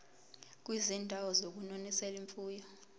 kwizindawo zokunonisela imfuyo